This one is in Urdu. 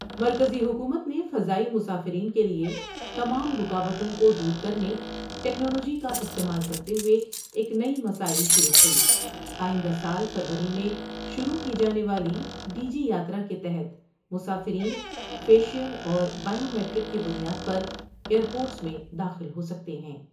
آئندہ سال فروری میں شروع کی جانے والی ڈی جی یاترا کے تحت مسافرین فیشیل اور بائیومیٹرک کی بنیاد پر ایئر پورٹس میں داخل ہو سکتے ہیں ۔